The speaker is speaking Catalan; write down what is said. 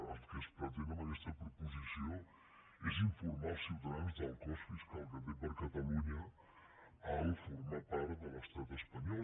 el que es pretén amb aquesta proposició és informar els ciutadans del cost fiscal que té per a catalunya formar part de l’estat espanyol